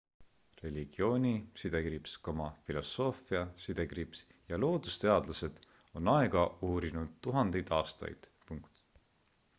religiooni filosoofia ja loodusteadlased on aega uurinud tuhandeid aastaid